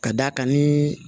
Ka d'a kan ni